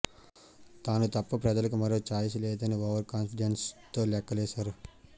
తాను తప్ప ప్రజలకు మరో ఛాయిస్ లేదని ఓవర్ కాన్ఫిడెన్స్తో లెక్కలేశారు